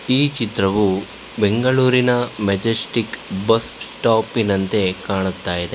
ಈ ಚಿತ್ರವು ಬೆಂಗಳೂರಿನ ಮೆಜೆಸ್ಟಿಕ್ ಬಸ್ ಸ್ಟಾಪಿನಂತೆ ಕಾಣ್ತಾ ಇದೆ.